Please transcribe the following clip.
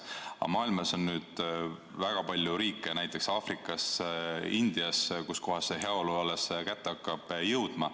Mujal maailmas aga on väga palju riike, näiteks Aafrikas ja Aasias India, kus heaolu alles hakkab kätte jõudma.